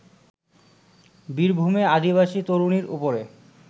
বীরভূমে আদিবাসী তরুণীর ওপরে